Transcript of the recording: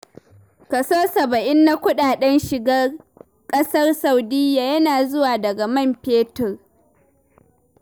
Kaso saba'in na kuɗaɗen shigar ƙasar Saudiyya yana zuwa daga man fetur.